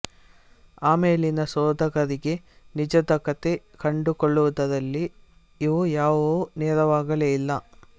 ಆಮೇಲಿನ ಶೋಧಕರಿಗೆ ನಿಜದಕತೆ ಕಂಡುಕೊಳ್ಳುವುದರಲ್ಲಿ ಇವು ಯಾವುವೂ ನೆರವಾಗಲೇ ಇಲ್ಲ